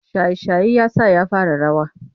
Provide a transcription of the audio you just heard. Shaye-shaye ya sa ya fara rawa.